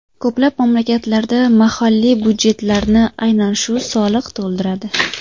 Ko‘plab mamlakatlarda mahalliy byudjetlarni aynan shu soliq to‘ldiradi.